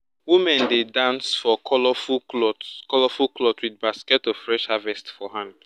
women dey dance for colourful cloth colourful cloth with basket of fresh harvest for hand.